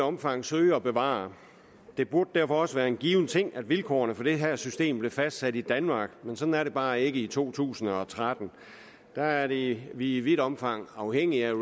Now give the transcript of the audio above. omfang søge at bevare det burde derfor også være en givet ting at vilkårene for det her system blev fastsat i danmark men sådan er det bare ikke i to tusind og tretten der er det i vidt omfang afhængigt